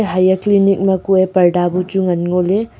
haiyak clinic kuye parda bu chu ngan ngo ley.